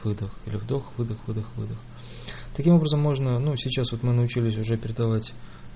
вдох-выдох вдох-выдох таким образом можно но сейчас вот мы научились уже передавать